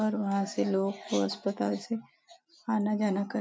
और वहां से लोग को अस्पताल से आना जाना कर --